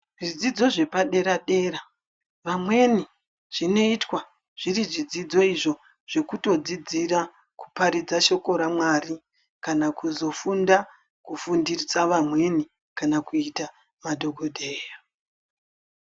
Zvidzidzo zvepadera dera vamweni zvinoitwa zviri zvidzidzo zvekutodzidzira kuparidza shoko raMwari kana kuzofunda kufundisa vamweni kana kuita madhokodheya.